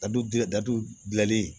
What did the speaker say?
Dadudi daw gilali